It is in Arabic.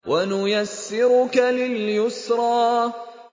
وَنُيَسِّرُكَ لِلْيُسْرَىٰ